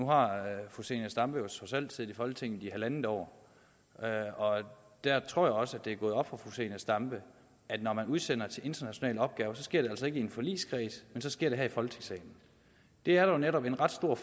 nu har fru zenia stampe jo trods alt siddet i folketinget i halvandet år og der tror jeg også at det er gået op for fru zenia stampe at når man udsender til en international opgave sker det altså ikke i en forligskreds men så sker det her i folketingssalen det er der jo netop en ret stor